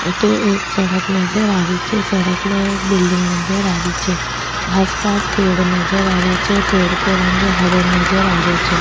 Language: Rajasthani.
अठे एक सड़क नजर आ रही छे सड़क में एक बिल्डिंग नजर आ रही छे आसपास पेड़ नजर आ रिया छे पेड़ को रंग हराे नजर आ रियो छे।